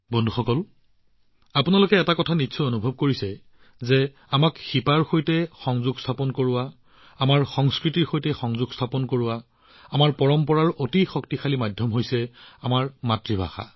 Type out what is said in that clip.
বন্ধুসকল প্ৰায়ে আপোনালোকে নিশ্চয় এটা কথা অনুভৱ কৰিছে শিপাৰ সৈতে সংযোগ স্থাপন কৰিবলৈ আমাৰ সংস্কৃতিৰ সৈতে সংযোগ স্থাপন কৰিবলৈ আমাৰ পৰম্পৰা এটা অতি শক্তিশালী মাধ্যমআমাৰ মাতৃভাষা